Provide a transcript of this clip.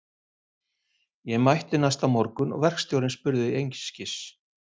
Ég mætti næsta morgun og verkstjórinn spurði einskis.